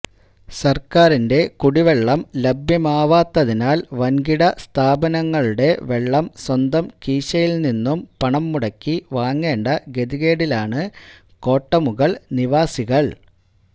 സർക്കാരിന്റെ കുടിവെള്ളം ലഭ്യമാവാത്തതിനാൽ വൻകിട സ്ഥാപനങ്ങളുടെ വെള്ളം സ്വന്തം കീശയിൽ നിന്നും പണം മുടക്കി വാങ്ങേണ്ട ഗതികേടിലാണ് കോട്ടമുഗൾ നിവാസികൾ